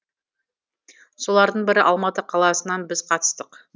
солардың бірі алматы қаласынан біз қатыстық